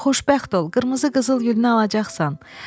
Xoşbəxt ol, qırmızı qızılgülünü alacaqsan.